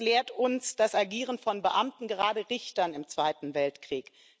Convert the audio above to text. Das lehrt uns das Agieren von Beamten, gerade von Richtern im Zweiten Weltkrieg.